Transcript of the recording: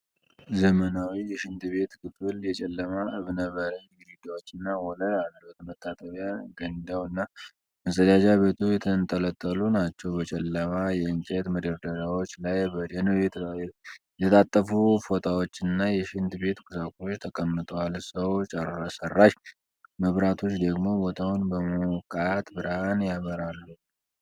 ዘመናዊ የሽንት ቤት ክፍል የጨለማ እብነበረድ ግድግዳዎችና ወለል አሉት። መታጠቢያ ገንዳው እና መጸዳጃ ቤቱ የተንጠለጠሉ ናቸው። በጨለማ የእንጨት መደርደሪያዎች ላይ በደንብ የተጣጠፉ ፎጣዎችና የሽንት ቤት ቁሳቁሶች ተቀምጠዋል፤ ሰው ሠራሽ መብራቶች ደግሞ ቦታውን በሞቃት ብርሃን ያበራሉ።